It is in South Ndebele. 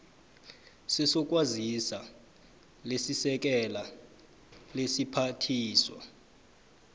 sezokwazisa lisekela lesiphathiswa